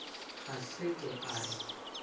a se ke a re